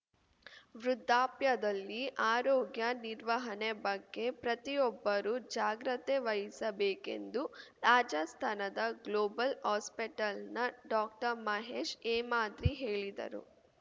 ವೃದ್ಧಾಪ್ಯದಲ್ಲಿ ಆರೋಗ್ಯ ನಿರ್ವಹಣೆ ಬಗ್ಗೆ ಪ್ರತಿಯೊಬ್ಬರೂ ಜಾಗ್ರತೆ ವಹಿಸಬೇಕೆಂದು ರಾಜಸ್ತಾನದ ಗ್ಲೋಬಲ್‌ ಹಾಸ್ಪಿಟೆಲ್‌ನ ಡಾಕ್ಟರ್ಮಹೇಶ್‌ ಹೇಮಾದ್ರಿ ಹೇಳಿದರು